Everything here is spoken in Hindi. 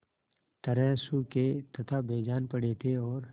तरह सूखे तथा बेजान पड़े थे और